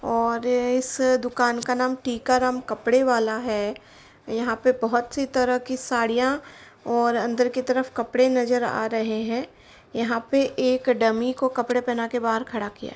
और इस दुकान का नाम टीकाराम कपड़े वाला है यहां पर बोहोत से तरह की साड़ियां और अंदर की तरफ कपड़े नजर आ रहे हैं। यहां पर एक डमी को कपड़े पहन कर बाहर खड़ा किया है |